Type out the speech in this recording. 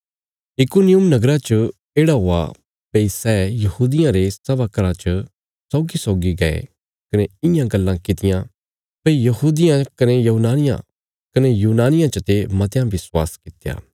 इकुनियुम नगरा च येढ़ा हुआ भई सै यहूदियां रे सभा घराँ च सौगीसौगी गये कने इयां गल्लां कित्ती यां भई यहूदियां कने यूनानियां चते मतयां विश्वास कित्या